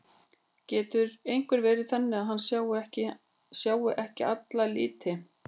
Getur einhver verið þannig að hann sjái ekki alla liti?